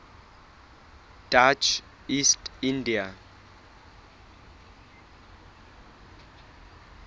dutch east india